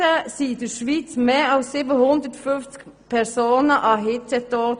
Im Jahr 2015 starben in der Schweiz mehr als 750 Personen am Hitzetod.